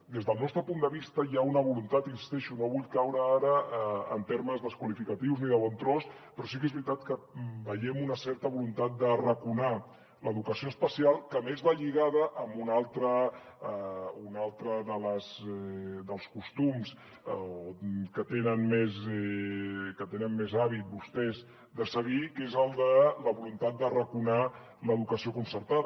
des del nostre punt de vista hi ha una voluntat hi insisteixo no vull caure ara en termes desqualificatius ni de bon tros però sí que és veritat que veiem una certa voluntat d’arraconar l’educació especial que a més va lligada a un altre dels costums que tenen més hàbit vostès de seguir que és el de la voluntat d’arraconar l’educació concertada